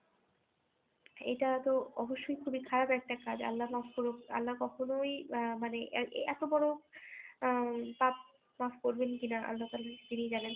এটা তো অবশ্যই খুবই খারাপ একটা কাজ আল্লাহ মাফ করুক আল্লাহ কখনই আহ মানে এত বড়ো আহ পাপ মাফ করবে কি না আল্লাহতালা তিনিই জানেন